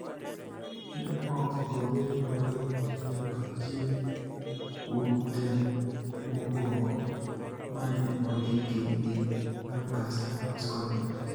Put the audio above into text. ne ok obedo mayot nyaka chieng� kuom temo mokwongo ma ne ondiki gi Lancaster House Conference.